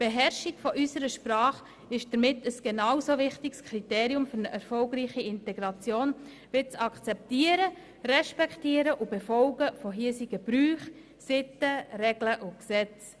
Die Beherrschung unserer Sprache ist damit für eine erfolgreiche Integration ein genauso wichtiges Kriterium wie das Akzeptieren, Respektieren und Befolgen hiesiger Bräuche, Sitten, Regeln und Gesetze.